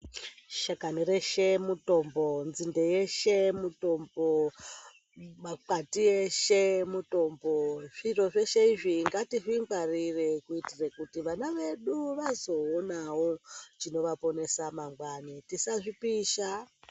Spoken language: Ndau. Shakani reshe mutombo, nzinde yeshe mutombo, makwati eshe mutombo zviro zveshe izvi ngatizvingwarire kuitire kuti vana vedu vazoonawo chinowaponesa mangwani tisazvipisa.